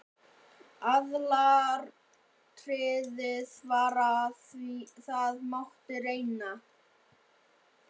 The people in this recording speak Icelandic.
Aðalatriðið var að það mátti reyna.